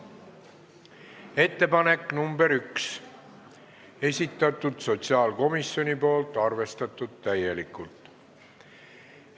Ettepanek nr 1, esitanud sotsiaalkomisjon, arvestatud täielikult.